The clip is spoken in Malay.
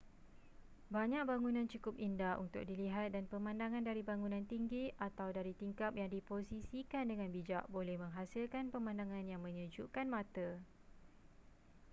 banyak bangunan cukup indah untuk dilihat dan pemandangan dari bangunan tinggi atau dari tingkap yang diposisikan dengan bijak boleh menghasilkan pemandangan yang menyejukkan mata